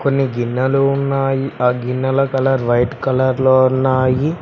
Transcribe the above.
కొన్ని గిన్నెలు ఉన్నాయి ఆ గిన్నెల కలర్ వైట్ కలర్ లో ఉన్నాయి.